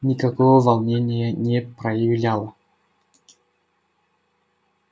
никакого волнения не проявляла